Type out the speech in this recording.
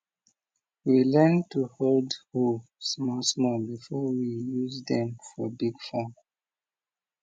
we learn to hold hoe small small before we use dem for big farm